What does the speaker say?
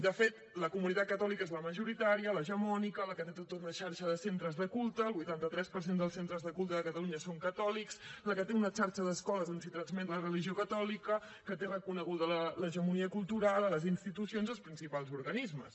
de fet la comunitat catòlica és la majoritària l’hegemònica la que té tota una xarxa de centres de culte el vuitanta tres per cent de centres de culte de catalunya són catòlics la que té una xarxa d’escoles on s’hi transmet la religió catòlica que té reconeguda l’hegemonia cultural a les institucions i als principals organismes